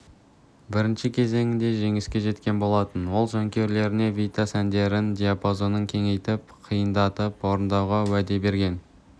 бірінші кезеңінде жеңіске жеткен болатын ол жанкүйерлеріне витас әндерінің диапазонын кеңейтіп қиындатып орындауға уәде берген